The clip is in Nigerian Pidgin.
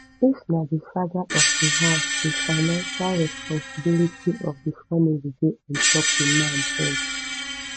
if na di father of di house di financial responsibility of di family dey ontop di man head